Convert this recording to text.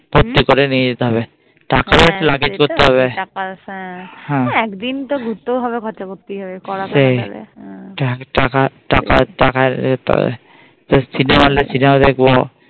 ফুর্তি করে নিয়ে যেতে হবে এক দিন তো ঘুরতেও হবে আর খরচা করতে হবে হ্যাঁ সেই সিনেমা দেখবো